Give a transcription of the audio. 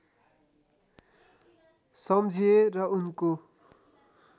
सम्झिए र उनको